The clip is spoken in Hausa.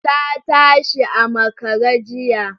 Ta tashi a makare jiya.